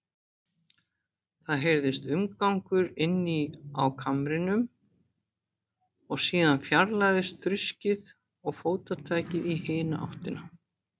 Það heyrðist umgangur inni á kamrinum, og síðan fjarlægðist þruskið og fótatakið í hina áttina.